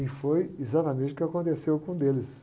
E foi exatamente o que aconteceu com um deles.